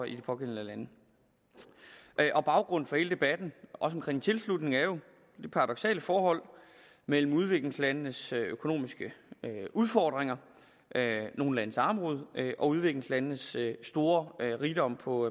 i de pågældende lande baggrunden for hele debatten også om tilslutning er jo det paradoksale forhold mellem udviklingslandenes økonomiske udfordringer nogle landes armod og udviklingslandenes store rigdom på